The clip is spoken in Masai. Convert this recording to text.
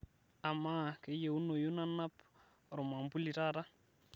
amaa kayieunoyu nanap ormambuli taata